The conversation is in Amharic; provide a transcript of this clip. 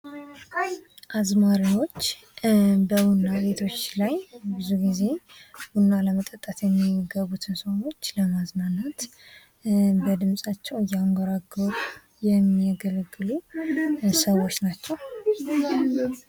አዝማሪዎች በቡና ቤቶች ላይ ብዙ ጊዜ ለመጠጣት የሚገቡትን ለማዝናናት ወይም በድምጻቸው እያንጎራጎሩ የሚያገለግሉ ሰዎች ናቸው።